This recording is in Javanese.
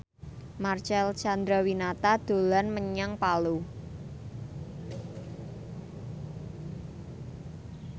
Marcel Chandrawinata dolan menyang Palu